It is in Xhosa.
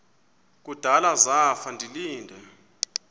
kudala zafa ndilinde